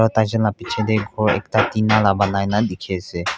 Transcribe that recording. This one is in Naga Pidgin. o taichun laga bechi teh khor ekta tina laga ponaina teki ase.